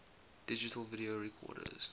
digital video recorders